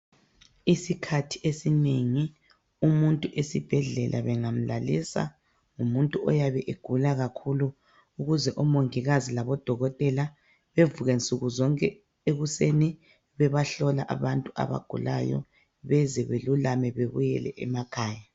Isikhathi esinengi umuntu esibhedlela bengamlalisa ngumuntu oyabe egula kakhulu ,ukuze omongikazi labo dokotela bevuke nsukuzonke ekusen bebahlola abantu abagulayo beze belulame bebuyele emakhaya.